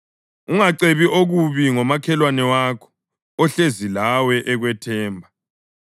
Ungacebi okubi ngomakhelwane wakho, ohlezi lawe ekwethemba.